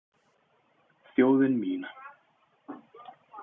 Þjóðin mín.